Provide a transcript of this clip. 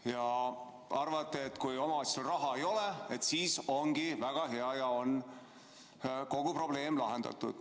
Te arvate, et kui omavalitsusel raha ei ole, siis ongi väga hea ja kogu probleem on lahendatud.